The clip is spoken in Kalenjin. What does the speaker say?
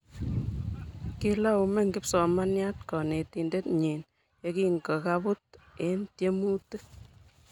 kilaumen kipsomanian konetinte nyiny ye kankoibut en tiemutich